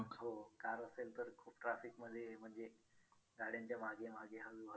रमाबाईंनी doctor Babasaheb आंबेडकरांना खूप प्रोत्साहन दिले व त्यांना मार्गदर्शन केले व त्यांच्या पाठीशी ते खंबीरपणे उभे राहिल्या.